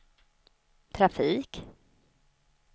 trafik